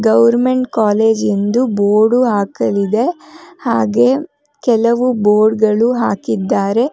Government college ಎಂದು board ಹಾಕಲಿದೆ ಹಾಗೆ ಕೆಲವು ಬೋರ್ಡ್ ಗಳು ಹಾಕಿದ್ದಾರೆ.